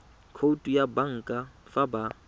khoutu ya banka fa ba